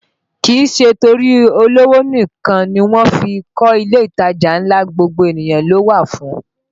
Kìí ṣe torí olówó nìkan ni wọ́n fí ń kọ ilé ìtajà ńlá, gbogbo ènìyàn ló wà fún